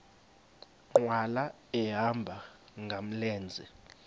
nkqwala ehamba ngamlenze